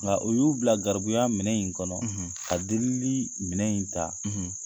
O la u y'u bila garibuya minɛ in kɔnɔ ka delili minɛ in ta